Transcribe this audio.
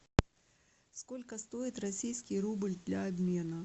сколько стоит российский рубль для обмена